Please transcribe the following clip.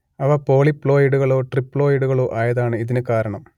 അവ പോളിപ്ലോയിഡുകളോ ട്രിപ്ലോയിടുകളോ ആയതാണ് ഇതിനു കാരണം